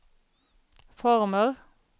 former